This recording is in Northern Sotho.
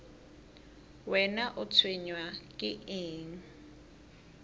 wena o tshwenywa ke eng